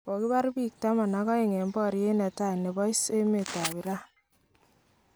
Kokibar peek taman ak aeng eng boryat netai nebo 'is'emet tab Iran